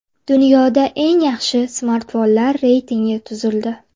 Dunyoda eng yaxshi smartfonlar reytingi tuzildi.